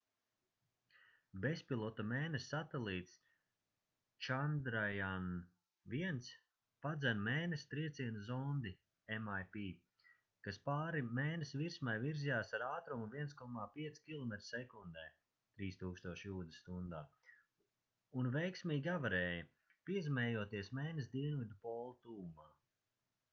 bezpilota mēness satelīts chandrayaan-1 padzen mēness trieciena zondi mip kas pāri mēness virsmai virzījās ar ātrumu 1,5 kilometri sekundē 3000 jūdzes stundā un veiksmīgi avarēja piezemējoties mēness dienvidu pola tuvumā